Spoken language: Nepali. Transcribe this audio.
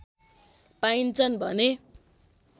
पाइन्छन् भने